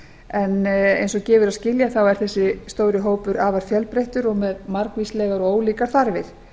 en eins og gefur að skilja er þessi stóri hópur afar fjölbreyttur og með margvíslegar og ólíkar þarfir